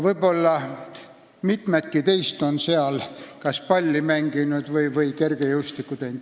Võib-olla mitmedki teist on seal kas palli mänginud või kergejõustikku teinud.